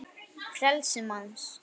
frelsi manns